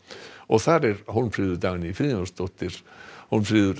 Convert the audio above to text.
þar er Hólmfríður Dagný Friðjónsdóttir Hólmfríður